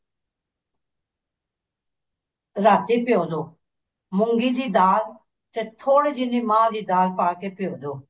ਰਾਤੀ ਭਿਓਂ ਦੋ ਮੂੰਗੀ ਦੀ ਦਾਲ ਤੇ ਥੋੜੀ ਜੀ ਮਾਹ ਦੀ ਦਾਲ ਪਾ ਕੇ ਭਿਓਂ ਦੋ